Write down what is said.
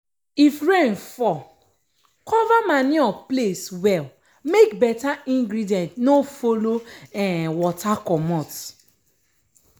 if rain fall cover manure place well make beta ingredient no follow um water comot.